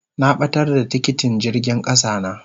Na batar da tikitin jirgin kasa na.